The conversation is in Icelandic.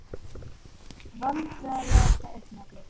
Vandræðalegasta augnablik?